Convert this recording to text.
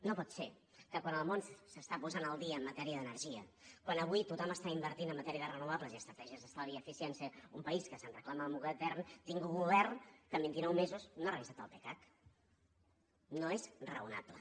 no pot ser que quan el món s’està posant al dia en matèria d’energia quan avui tothom està invertint en matèria de renovables i estratègies d’estalvi i eficiència un país que es reclama modern tingui un govern que en vintinou mesos no ha revisat el pecac no és raonable